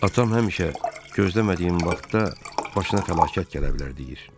Atam həmişə gözləmədiyin vaxtda başına fəlakət gələ bilər deyir.